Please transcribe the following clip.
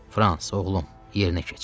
Frans, oğlum, yerinə keç.